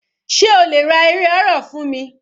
Sé o lè ra eré horror fún mi?